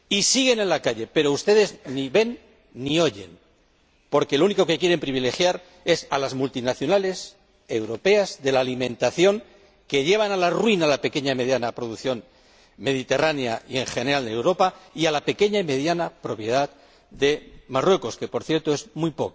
Siguen en la calle, pero ustedes ni ven ni oyen, porque a las únicas que quieren privilegiar es a las multinacionales europeas de la alimentación, que llevan a la ruina a la pequeña y mediana producción mediterránea —en general en Europa— y a la pequeña y mediana propiedad de Marruecos, que, por cierto, es muy